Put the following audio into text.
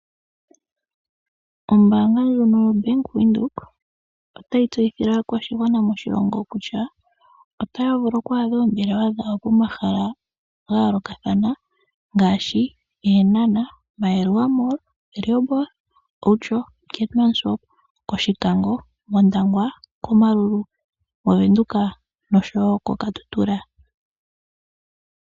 Ombaanga ndjono yo Bank Windhoek otayi tseyithile aakwashigwana moshilongo kutya otaya vulu okwaadha oombelewa dhawo pomahala ga yoolokathana ngaashi Eenhana, Maerua mall, Rehoboth, Outjo, Keetmanshoop, Oshikango, Ondangwa, Omaruru, movenduka noshowo ko Katutura.